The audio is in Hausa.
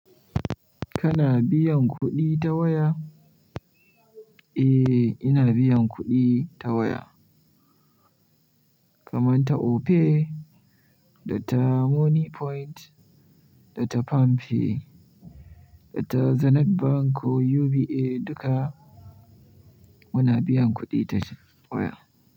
Kana biyan kuɗi ta waya? Eh, ina biyan kuɗi ta waya kaman ta Opay, da ta Money Point, da ta Palm pay, da ta Zenith Bank ko UBA duka muna biyan kuɗi ta waya.